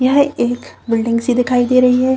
यह एक बिल्डिंग सी दिखाई दे रही है।